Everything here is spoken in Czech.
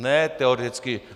Ne teoreticky.